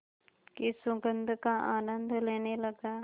की सुगंध का आनंद लेने लगा